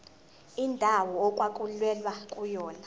indawo okwakulwelwa kuyona